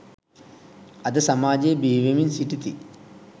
අද සමාජයේ බිහිවෙමින් සිටිති.